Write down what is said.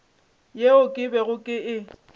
yeo ke bego ke e